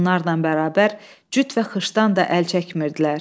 Bunlarla bərabər cüt və xışdan da əl çəkmirdilər.